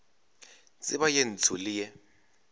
tseba ye ntsho le ye